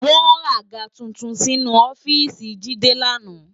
Wò ràgá tútún sinú òfìsí Jide làná